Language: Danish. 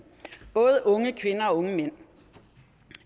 både unge kvinder og unge mænd